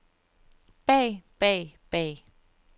bag bag bag